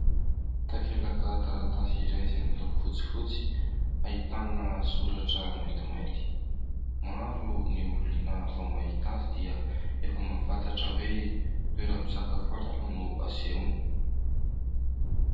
Takelaka taratasy iray izay miloko fotsifotsy ahitana soratra mainty mainty, maro ny olona vao mahita azy dia efa mahafantatra hoe toera-pisakafoanana no asehony.